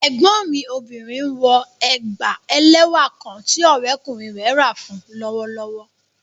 Ẹgbọn mi obìnrin nwọ ègbá èlẹ́wà kán tí òrẹ̀kúnrin rẹ̀ rá fún u lọ́wọ̀lọ́wọ̀